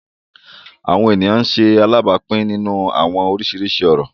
Awọn eniyan ń ṣe alabapin ninu awọn oriṣiriṣi orọ